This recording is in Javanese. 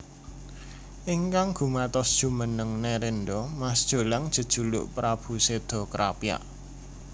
Ingkang gumatos jumeneng nerendra Mas Jolang jejuluk Prabu Seda Krapyak